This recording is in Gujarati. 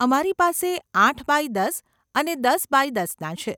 અમારી પાસે આઠ બાય દસ અને દસ બાય દસના છે.